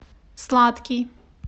сладкий